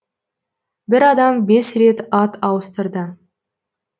бір адам бес рет ат ауыстырды